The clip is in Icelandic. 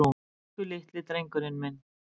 Elsku litli drengurinn minn.